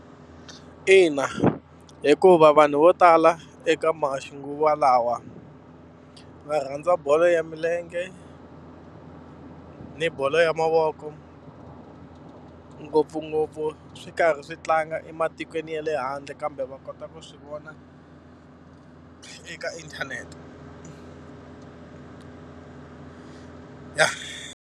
Ina hikuva vanhu vo tala eka maxinguvalawa va rhandza bolo ya milenge, na bolo ya mavoko, ngopfungopfu swi karhi swi tlanga ematikweni ya le handle kambe va kota ku swi vona eka inthanete. Ya.